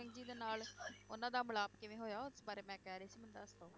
ਗੁਰੂ ਜੀ ਦੇ ਨਾਲ ਉਹਨਾਂ ਦਾ ਮਿਲਾਪ ਕਿਵੇਂ ਹੋਇਆ, ਉਸ ਬਾਰੇ ਮੈਂ ਕਹਿ ਰਹੀ ਸੀ ਮੈਨੂੰ ਦੱਸ ਦਓ।